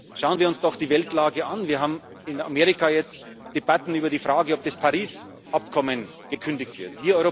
Schauen wir uns doch die Weltlage an Wir haben in Amerika jetzt Debatten über die Frage, ob das Paris Abkommen gekündigt